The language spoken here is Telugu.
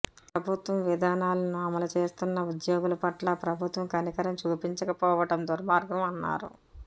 ప్రభుత్వం విధానాలను అమలు చేస్తున్న ఉద్యోగులు పట్ల ప్రభుత్వం కనికరం చూపించకపోవడం దుర్మార్గం అన్నారు